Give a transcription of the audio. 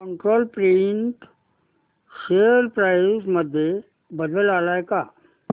control print share price मध्ये बदल आलाय का